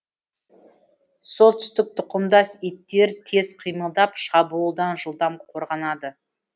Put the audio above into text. солтүстік тұқымдас иттер тез қимылдап шабуылдан жылдам қорғанады